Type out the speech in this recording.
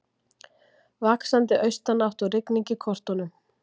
Vaxandi austanátt og rigning í kortunum